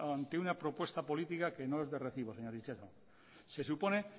ante una propuesta política que no es de recibo señor itxaso se supone